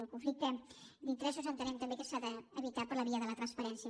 el conflicte d’interessos entenem també que s’ha d’evitar per la via de la transparència